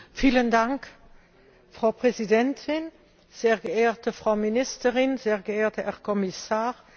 Frau Präsidentin, sehr geehrte Frau Ministerin, sehr geehrter Herr Kommissar, liebe Kollegen!